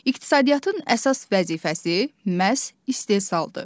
İqtisadiyyatın əsas vəzifəsi məhz istehsaldır.